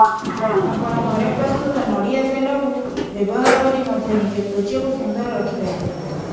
ଆପଣ ଘରେ ପ୍ରସ୍ତୁତ ନଡ଼ିଆ ତେଳକୁ ବ୍ୟବହାର କରି ମଧ୍ୟ ନିଜ ତ୍ବଚାକୁ ସୁନ୍ଦର ରଖିପାରିବେ